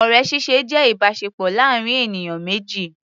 Ọ̀rẹ́ ṣíṣe jẹ́ ìbáṣepọ̀ láàrin ènìyàn méjì.